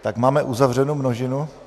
Tak máme uzavřenu množinu?